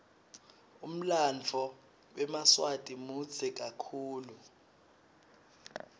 umlanduo wemaswati mudze kakhulu